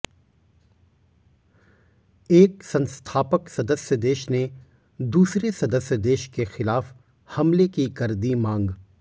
एक संस्थापक सदस्य देश ने दूसरे सदस्य देश के ख़िलाफ़ हमले की कर दी मांग